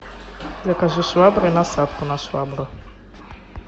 закажи швабру и насадку на швабру